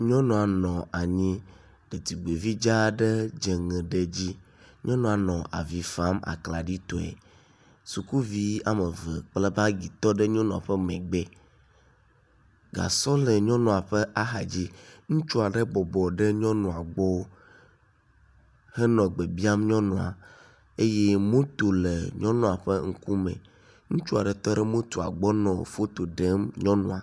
nyɔnua nɔ anyi ɖetugbi vi dza aɖe dzeŋe ɖe dzi nyɔnuɔ nɔ avifam aklaɖi tɔe sukuvi wɔmeve kple bagi tɔɖe nyɔnuɔ ƒɛ megbɛ gasɔ le ŋutsua ƒe axadzi ŋutsuɔ ɖe bɔbɔ ɖe nyɔnuɔ gbɔ henɔ gbe biam nyɔnua eye moto le nyɔnuɔ ƒe ŋkume ŋutsua ɖe tɔɖe motoa gbɔ nɔ fotoɖem nyɔnua